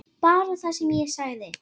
Bara það sem ég sagði.